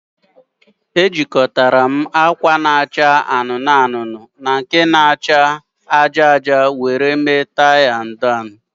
Ejikọtara m acha anụnụ anụnụ na aja aja maka tie na akwa akwa m